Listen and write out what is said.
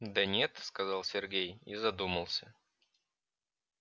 да нет сказал сергей и задумался